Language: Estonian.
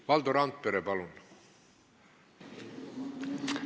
Valdo Randpere, palun!